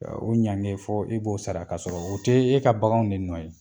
O ɲankili fɔ k'a sara k'a sɔrɔ u tɛ e ka baganw de nɔ ye.